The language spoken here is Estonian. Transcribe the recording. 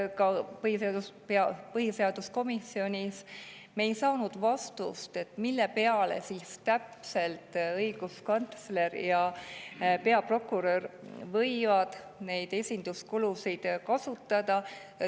Ka põhiseaduskomisjonis ei saanud me vastust, milleks siis täpselt võivad õiguskantsler ja peaprokurör neid esinduskuludeks kasutada.